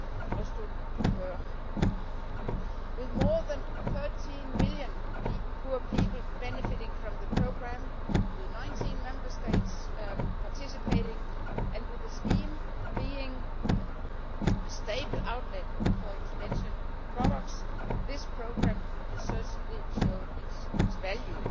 Resto du Cœur With more than 13 million poor people benefiting from the programme, with 19 Member States participating and with the scheme being a stable outlet for intervention products, this programme has certainly shown its value.